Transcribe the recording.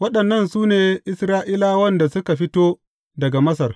Waɗannan su ne Isra’ilawan da suka fito daga Masar.